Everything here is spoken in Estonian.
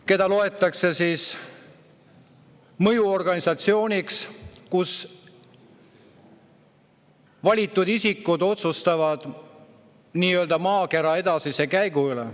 Seda gruppi peetakse mõjuorganisatsiooniks, kus valitud isikud otsustavad maakera edasise käigu üle.